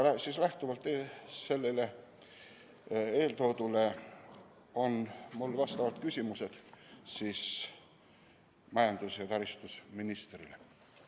Eeltoodust lähtudes on mul küsimused majandus- ja taristuministrile.